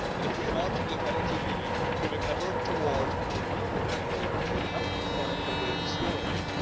If we are to be an Energy Union moving ever toward renewable energy, we have to find a way of storing it.